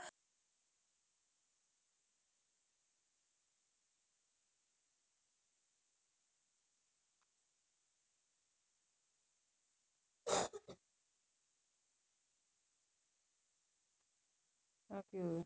ਆ ਕੀ ਹੋ ਗਿਆ